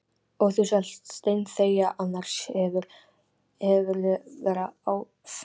Og þú skalt steinþegja, annars hefurðu verra af.